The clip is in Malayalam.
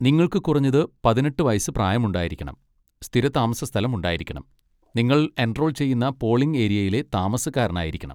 നിങ്ങൾക്ക് കുറഞ്ഞത് പതിനെട്ട് വയസ്സ് പ്രായമുണ്ടായിരിക്കണം, സ്ഥിര താമസസ്ഥലം ഉണ്ടായിരിക്കണം, നിങ്ങൾ എൻറോൾ ചെയ്യുന്ന പോളിംഗ് ഏരിയയിലെ താമസക്കാരനായിരിക്കണം.